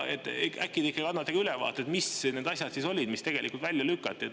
Äkki te annate ülevaate, mis need asjad olid, mis tegelikult välja lükati?